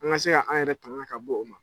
An ka se ka an yɛrɛ tagan ka bɔ o ma.